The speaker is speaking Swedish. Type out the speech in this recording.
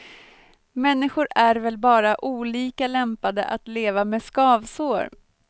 Människor är väl bara olika lämpade att leva med skavsår.